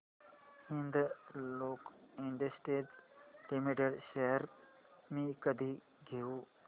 Hindalco industries limited shares मी कधी घेऊ